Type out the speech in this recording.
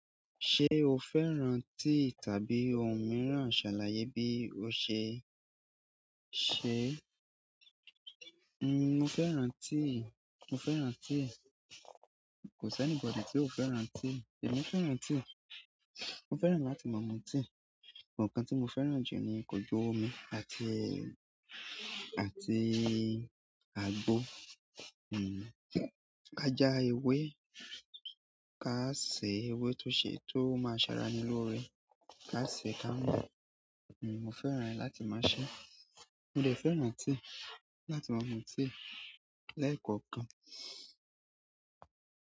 Ṣé o fẹ́ràn tíì tàbí ohun mìíràn, ṣàlàyé bí o ṣe. Ṣe, mo fẹ́ràn tíì, mo fẹ́ràn tíì. Kò sí anybody tí ò fẹ́ràn tíì. Emi fẹ́ràn tii. Mo fẹ́ràn láti máa mu tíì. But nǹkan tí mo fẹ́ràn jù ni ko jú ómi àti, àti àgbo. Ká já ewé, ká sè ewé tó ṣe, tó máa ṣàrà ení lóore. Ká sè ká mú. Mo fẹ́ràn rẹ̀ láti máa ṣé. Mo de fẹ́ràn tíì láti máa mu tíì lẹ́ẹ̀kọ̀okan.